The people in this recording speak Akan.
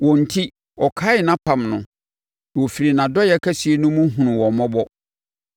Wɔn enti, ɔkaee nʼapam no na ɔfirii nʼadɔeɛ kɛseɛ no mu hunuu wɔn mmɔbɔ.